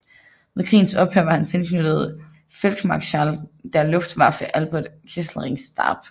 Ved krigens ophør var han tilknyttet Feldmarschall der Luftwaffe Albert Kesselrings stab